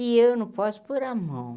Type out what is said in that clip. E eu não posso pôr a mão.